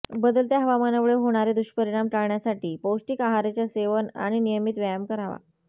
बदलत्या हवामानामुळे होणारे दुष्परिणाम टाळण्यासाठी पौष्टिक आहाराचे सेवन आणि नियमित व्यायाम करावा